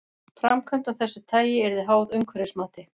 Framkvæmd af þessu tagi yrði háð umhverfismati.